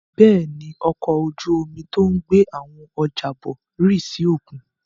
Bẹ́ẹ̀ ni, ọkọ̀ ojú-omi tó ń gbé àwọn ọjà bọ̀ rì sí òkun.